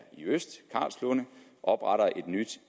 i øst i karlslunde opretter et nyt